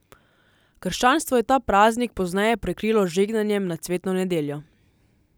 Krščanstvo je ta praznik pozneje prekrilo z žegnanjem na cvetno nedeljo.